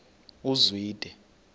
uzwide